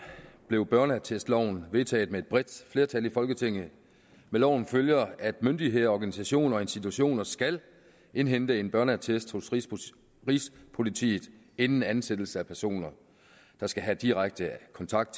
blev børneattestloven vedtaget med et bredt flertal i folketinget med loven følger at myndigheder organisationer og institutioner skal indhente en børneattest hos rigspolitiet inden ansættelse af personer der skal have direkte kontakt